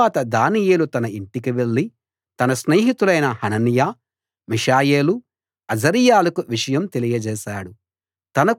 తరువాత దానియేలు తన ఇంటికి వెళ్ళి తన స్నేహితులైన హనన్యా మిషాయేలు అజర్యాలకు విషయం తెలియజేశాడు